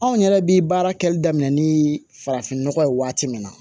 Anw yɛrɛ bi baara kɛli daminɛ ni farafin nɔgɔ ye waati min na